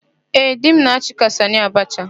Ee, di m na-achị ka Sanị Abacha.